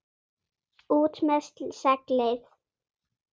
ÚT MEÐ SEGLIÐ!